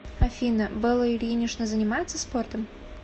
афина белла ильинична занимается спортом